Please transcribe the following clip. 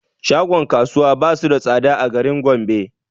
Shagon kasuwa basu da tsada a garin gombe